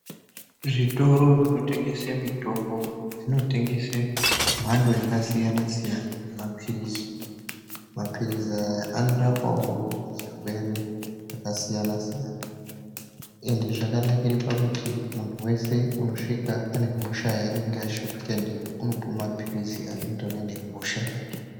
Zvitoro zvinotengese mitombo zvinotengese mhando yakasiyana-siyana yemaphirizi. Maphirizi aya anorapawo zvirwere zvakasiyana-siyana ende zvakanakire pakuti munhu wese unosvika anehosha yaanenge ashupika ndiyo unopiwe maphilizi anoenderana nehosha yake.